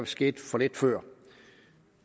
skete for lidt før